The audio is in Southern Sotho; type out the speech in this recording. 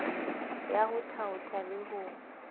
ya ho thaotha le ho